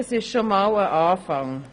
Das ist schon einmal ein Anfang.